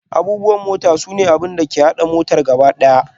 Abubuwan mota sune abin da ke haɗa motar gaba ɗaya.